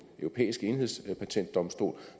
europæiske enhedspatentdomstol